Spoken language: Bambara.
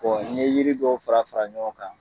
n ye yiri dɔw fara fara ɲɔgɔn kan